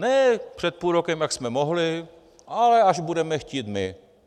Ne před půl rokem, jak jsme mohli, ale až budeme chtít my.